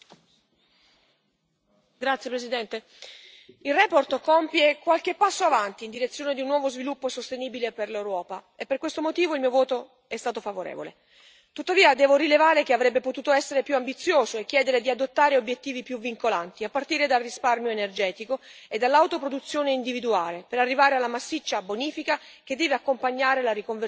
Signor Presidente, onorevoli colleghi, la relazione compie qualche passo avanti in direzione di un nuovo sviluppo sostenibile per l'Europa, e per questo motivo il mio voto è stato favorevole. Tuttavia, devo rilevare che avrebbe potuto essere più ambiziosa e chiedere di adottare obiettivi più vincolanti, a partire dal risparmio energetico e dall'autoproduzione individuale, per arrivare alla massiccia bonifica che deve accompagnare la riconversione dei siti industriali.